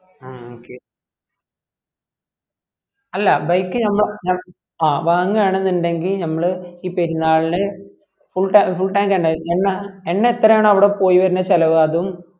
ആ okay അല്ല bike ഞമ്മ ഞമ്മ ആ വാങ്ങുവാന്ന് ഉണ്ടെങ്കിൽ ഞമ്മള് ഈ പെരുനാളിന് full tank full tank എണ്ണ എണ്ണ എത്ര ആണോ അവിട പോയി വരുന്നേന്ന് ചെലവ് അതും